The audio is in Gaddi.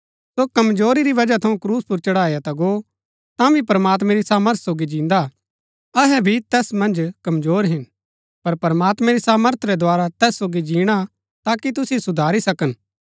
सो कमजोरी री बजह थऊँ क्रूस पुर चढ़ाया ता गो तांभी प्रमात्मां री सामर्थ सोगी जिन्दा हा अहै भी तैस मन्ज कमजोर हिन पर प्रमात्मैं री सामर्थ रै द्धारा तैस सोगी जीणा ताकि तुसिओ सुधारी सकन